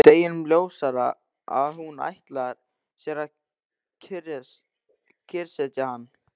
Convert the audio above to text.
Deginum ljósara að hún ætlar sér að kyrrsetja hann!